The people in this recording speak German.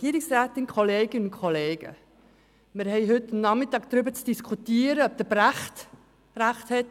Wir haben heute darüber zu diskutieren, ob Brecht mit seiner Aussage,